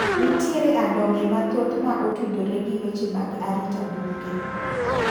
Nitiere adong'e mathoth mma otudore gi weche mag arita bunge.